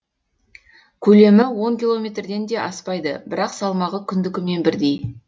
көлемі он километрден де аспайды бірақ салмағы күндікімен бірдей